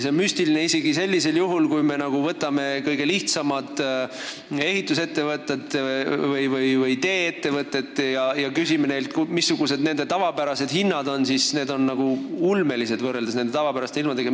Kui me küsiksime kõige lihtsamatelt ehitus- või tee-ettevõtetelt, mis nende tavapärased hinnad on, siis piiriehituse hind on ulmeline võrreldes tavapäraste töödega.